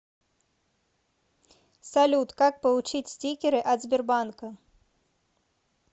салют как получить стикеры от сбербанка